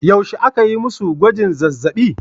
Yaushe aka yi masu gwajin zazzabi?